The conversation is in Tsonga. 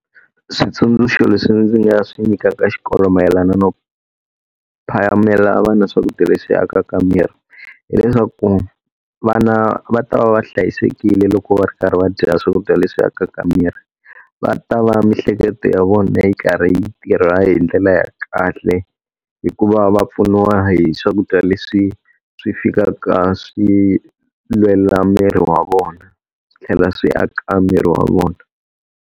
Switsundzuxo leswi ndzi nga swi nyikaka xikolo mayelana no phamela vana swakudya leswi akaka miri, hileswaku vana va ta va va hlayisekile loko va ri karhi va dya swakudya leswi akaka miri. Va ta va miehleketo ya vona yi karhi yi tirha hi ndlela ya kahle hi ku va va pfuniwa hi swakudya leswi swi fikaka swi lwela miri wa vona, tlhela swi aka miri wa vona.